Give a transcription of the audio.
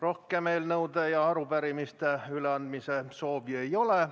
Rohkem eelnõude ja arupärimiste üleandmise soovi ei ole.